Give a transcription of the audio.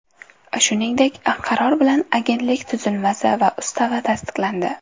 Shuningdek, qaror bilan agentlik tuzilmasi va ustavi tasdiqlandi.